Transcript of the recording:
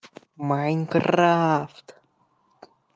майнкрафт